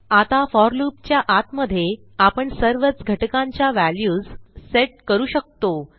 आता for loop च्या आतमध्ये आपण सर्वच घटकांच्या व्हॅल्यूज सेट करूशकतो